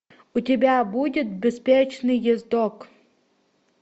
у тебя будет беспечный ездок